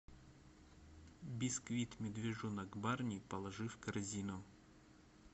бисквит медвежонок барни положи в корзину